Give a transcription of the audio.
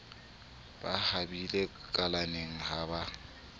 ba habile kalaneng ha ba